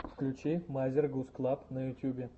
включи мазер гуз клаб на ютюбе